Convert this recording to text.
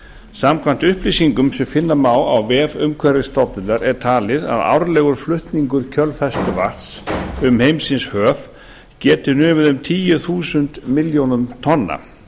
samkvæmt upplýsingum sem finna má á vef umhverfisstofnunar er talið að árlegur flutningur kjölfestuvatns um heimsins höf geti numið um tíu þúsund milljónum tonna